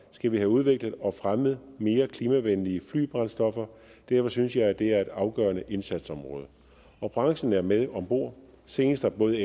skal vi have udviklet og fremmet mere klimavenlige flybrændstoffer og derfor synes jeg det er et afgørende indsatsområde og branchen er med om bord senest har både